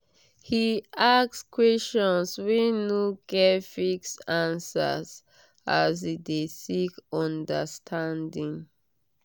he ask questions wey no get fixed answer as e de seek understanding